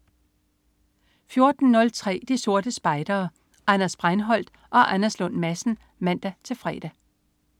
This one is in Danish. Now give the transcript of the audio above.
14.03 De Sorte Spejdere. Anders Breinholt og Anders Lund Madsen (man-fre)